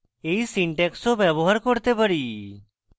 এই syntax ও ব্যবহার করতে পারি